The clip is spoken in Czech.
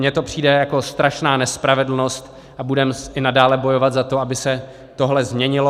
Mně to přijde jako strašná nespravedlnost a budeme i nadále bojovat za to, aby se tohle změnilo.